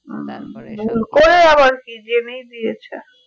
ভুল করে আবার কি জেনেই দিয়েছে